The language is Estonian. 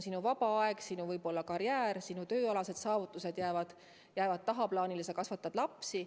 Sinu vaba aeg, sinu karjäär, sinu tööalased saavutused jäävad tagaplaanile, sest sa kasvatad lapsi.